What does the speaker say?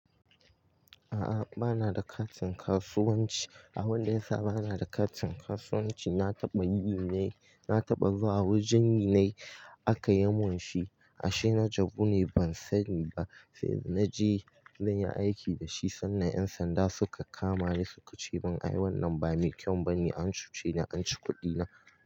A'a, bana da katin kasuwanci. Abin da ya sa bana da katin kasuwanci, na taɓa yi ne, na taɓa zuwa wajen yi ne aka yamun shi. A sai na jabu ne ban sani ba, sai na je zan yi aiki da shi sannan 'yan sanda suka kama ni suka ce min "ai wannan ba mai kyau ba ne", an cuce ni an ci kuɗina.